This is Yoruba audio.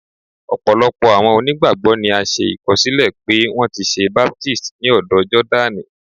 Ọpọlọpọ awọn onígbágbọ ni a ṣe ìkọsilẹ pe wọn ti ṣe baptisi ni ódò Jordaní.